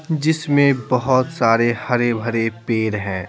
जिसमें बहुत सारे हरे-भरे पेर हैं।